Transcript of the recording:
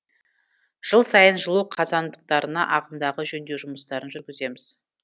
жыл сайын жылу қазандықтарына ағымдағы жөндеу жұмыстарын жүргіземіз